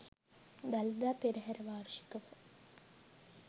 Dalada Perahera වාර්ෂිකව